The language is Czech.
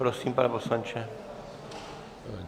Prosím, pane poslanče.